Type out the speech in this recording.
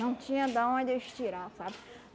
Não tinha da onde eles tirar, sabe?